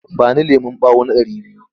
Ba ni lemon ɓawo na ɗari biyu!